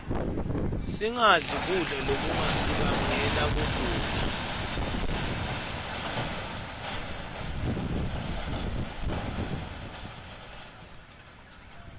singadli kudla lokungasibangela kugula